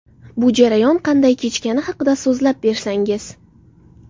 Bu jarayon qanday kechgani haqida so‘zlab bersangiz.